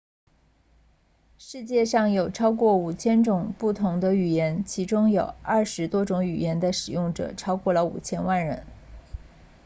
世界上有超过 5,000 种不同的语言其中有20多种语言的使用者超过了 5,000 万人